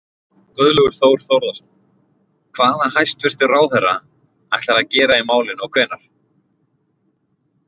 Guðlaugur Þór Þórðarson: Hvað hæstvirtur ráðherra ætlar að gera í málinu og hvenær?